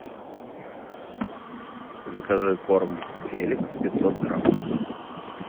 закажи корм феликс пятьсот грамм